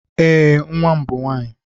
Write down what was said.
Ee, nwa m bụ nwaanyị.